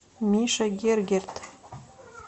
миша гергерт